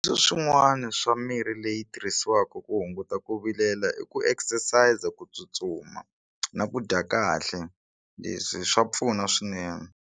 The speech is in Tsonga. Swin'wana swa mirhi leyi tirhisiwaka ku hunguta ku vilela i ku exercise ku tsutsuma na ku dya kahle leswi swa pfuna swinene.